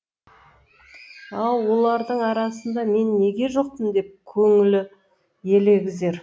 ау олардың арасында мен неге жоқпын деп көңілі елегізер